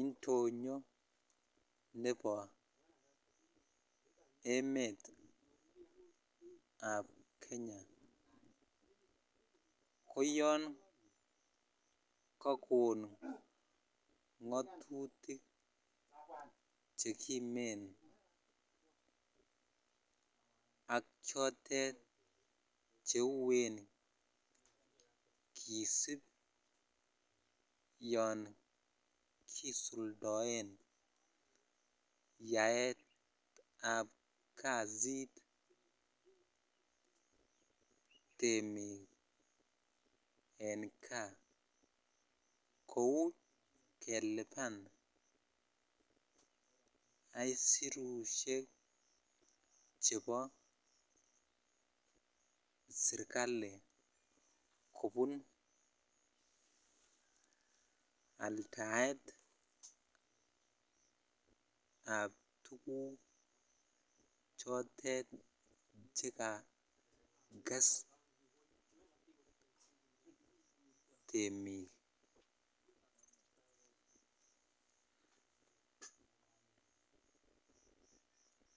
indonyon ne bo emetab kenya koyon kokon ng'atutik chekimen ak chotet cheuen kisip yon kisuldoen yaetab kasit temik en gaa kou kelipan aisurusiek chebo serikali kobun aldaet ab tuguk chotet chekakse temik.